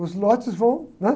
Os lotes vão, né?